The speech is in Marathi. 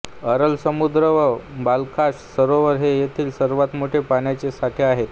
अरल समुद्र व बालखाश सरोवर हे येथील सर्वात मोठे पाण्याचे साठे आहेत